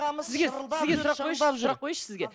сізге сізге сұрақ қояйыншы қояйыншы сізге